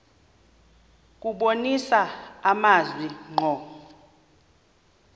kubonisa amazwi ngqo